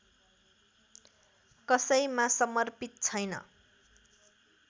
कसैमा समर्पित छैन